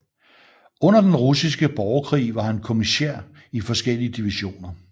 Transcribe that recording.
Under Den Russiske Borgerkrig var han kommissær i forskellige divisioner